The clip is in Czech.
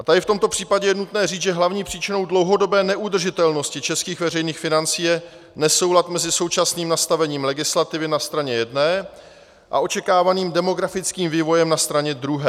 A tady v tomto případě je nutné říct, že hlavní příčinou dlouhodobé neudržitelnosti českých veřejných financí je nesoulad mezi současným nastavením legislativy na straně jedné a očekávaným demografickým vývojem na straně druhé.